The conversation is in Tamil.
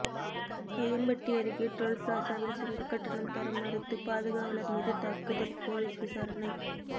வையம்பட்டி அருகே டோல்பிளாசாவில் சுங்க கட்டணம் தர மறுத்து பாதுகாவலர் மீது தாக்குதல் போலீஸ் விசாரணை